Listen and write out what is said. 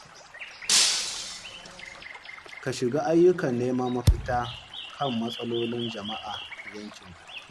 Ka shiga ayyukan neman mafita kan matsalolin jama’a a yankinku.